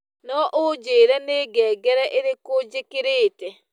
no unjĩre nĩ ngengere ĩrĩkũ njĩkĩrĩte